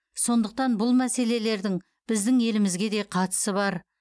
сондықтан бұл мәселелердің біздің елімізге де қатысы бар